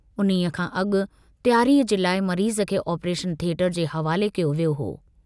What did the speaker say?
उन्हीअ खां अगु तैयारीअ जे लाइ मरीज़ खे आपरेशन थिएटर जे हवाले कयो वियो हो।